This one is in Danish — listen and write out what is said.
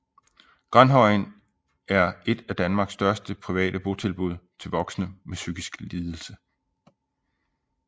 Granhøjen er et af Danmarks største private botilbud til voksne med en psykisk lidelse